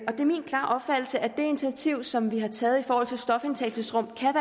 min klare opfattelse at det initiativ som vi har taget i forhold til stofindtagelsesrum kan